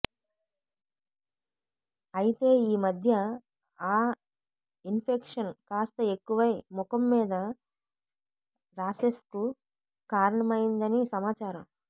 అయితే ఈ మధ్య ఆ ఇన్ఫెక్షన్ కాస్త ఎక్కువై ముఖం మీద రాషెస్కు కారణమయిందని సమాచారం